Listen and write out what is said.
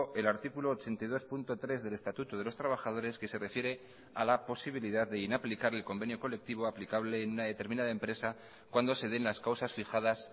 el artículo ochenta y dos punto tres del estatuto de los trabajadores que se refiere a la posibilidad de inaplicar el convenio colectivo aplicable en una determinada empresa cuando se den las causas fijadas